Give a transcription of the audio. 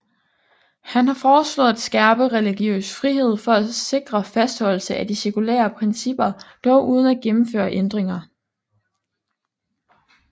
Han har foreslået at skærpe religiøs frihed for at sikre fastholdelse af de sekulære principper dog uden at gennemføre ændringer